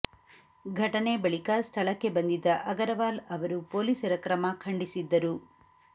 ಘಟನೆ ಬಳಿಕ ಸ್ಥಳಕ್ಕೆ ಬಂದಿದ್ದ ಅಗರವಾಲ್ ಅವರು ಪೊಲೀಸರ ಕ್ರಮ ಖಂಡಿಸಿದ್ದರು